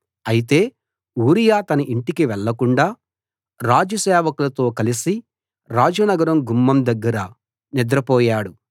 అయితే ఊరియా తన ఇంటికి వెళ్ళకుండా రాజు సేవకులతో కలసి రాజనగర గుమ్మం దగ్గర నిద్రపోయాడు